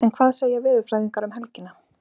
En hvað segja veðurfræðingarnir um helgina?